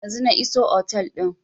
Yanzun na iso otel din